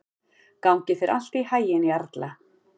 Gangi þér allt í haginn, Jarla.